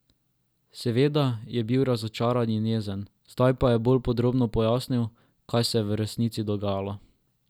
Seveda je bil razočaran in jezen, zdaj pa je bolj podrobno pojasnil, kaj se je v resnici dogajalo.